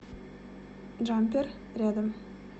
джампер рядом